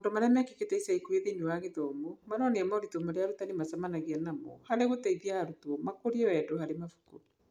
Maũndũ marĩa mekĩkĩte ica ikuhĩ thĩinĩ wa gĩthomo maronia moritũ marĩa arutani macemanagia namo harĩ gũteithia arutwo makũrie wendo harĩ mabuku.